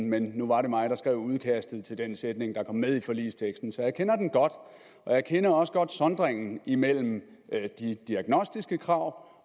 men nu var det mig der skrev udkastet til den sætning der kom med i forligsteksten så jeg kender den godt jeg kender også godt sondringen imellem de diagnostiske krav